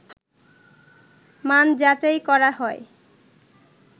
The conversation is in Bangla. মান যাচাই করা হয়